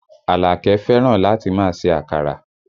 Alake fẹ́ràn láti máa ṣe àkàrà